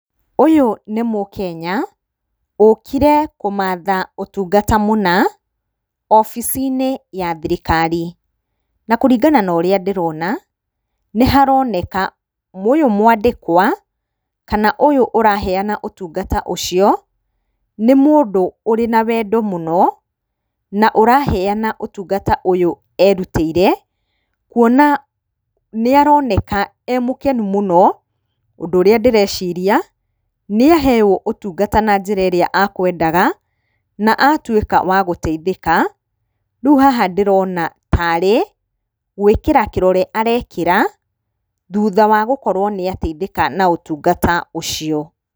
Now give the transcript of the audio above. Ũyũ nĩ mũkenya ũkire kũmatha ũtungata mũna, wabici-inĩ ya thirikari. Na kũringana na ũrĩa ndĩrona, nĩ haroneka ũyũ mwandĩkwa kana ũyũ ũraheana ũtungata ũcio nĩ mũndũ ũrĩ na wendo mũno, na ũraheana ũtungata ũyũ erutĩire, kuona nĩ aroneka e mũkenu mũno, ũndũ ũrĩa ndĩreciria, nĩ aheo ũtungata na njĩra ĩrĩa akwendaga, na atuĩka wa gũteithĩka, rĩu haha ndĩrona tarĩ gũĩkĩra kĩrore arekĩra, thutha wa gũkorwo nĩ ateithĩka na ũtungata ũcio.